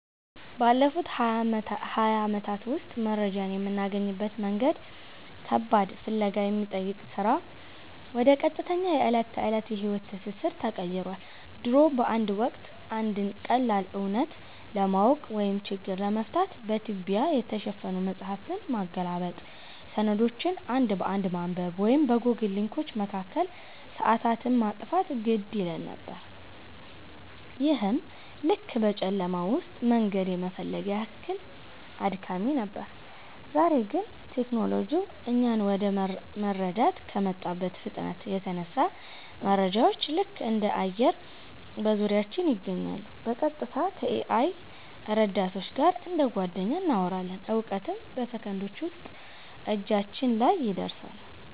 ባለፉት ሃያ ዓመታት ውስጥ መረጃን የምናገኝበት መንገድ ከባድ ፍለጋ ከሚጠይቅ ሥራ ወደ ቀጥተኛ የዕለት ተዕለት የሕይወት ትስስር ተቀይሯል። ድሮ በአንድ ወቅት፣ አንድን ቀላል እውነት ለማወቅ ወይም ችግር ለመፍታት በትቢያ የተሸፈኑ መጻሕፍትን ማገላበጥ፣ ሰነዶችን አንድ በአንድ ማንበብ ወይም በጎግል ሊንኮች መካከል ሰዓታትን ማጥፋት ግድ ይለን ነበር፤ ይህም ልክ በጨለማ ውስጥ መንገድ የመፈለግ ያህል አድካሚ ነበር። ዛሬ ግን ቴክኖሎጂው እኛን ወደ መረዳት ከመጣበት ፍጥነት የተነሳ፣ መረጃዎች ልክ እንደ አየር በዙሪያችን ይገኛሉ—በቀጥታ ከ-AI ረዳቶች ጋር እንደ ጓደኛ እናወራለን፣ እውቀትም በሰከንዶች ውስጥ እጃችን ላይ ይደርሳል።